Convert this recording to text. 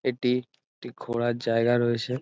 এটি একটি ঘোরার জায়গা রয়েছে ।